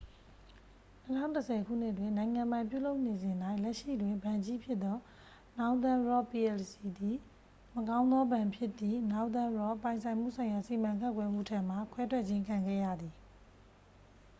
၂၀၁၀ ခုနှစ်တွင်၊ နိုင်ငံပိုင်ပြုလုပ်နေစဉ်၌၊ လက်ရှိတွင် ဘဏ်ကြီးဖြစ်သော northern rock plc သည် 'မကောင်းသောဘဏ်'ဖြစ်သည့် northern rock ပိုင်ဆိုင်မှုဆိုင်ရာစီမံခန့်ခွဲမှု ထံမှ ခွဲထွက်ခြင်း ခံခဲ့ရပါသည်။